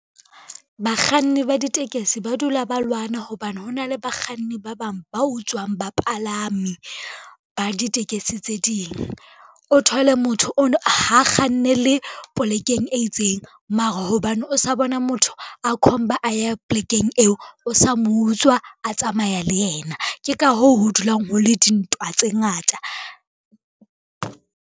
Bakganni ba ditekesi ba dula ba lwana hobane hona le bakganni ba bang ba utswang bapalami ba ditekesi tse ding. O thole motho ha kgannele polekeng e itseng mara hobane o sa bona motho a khomba a ya polekeng eo, o sa mo utswa a tsamaya le yena. Ke ka hoo ho dulang ho le dintwa tse ngata.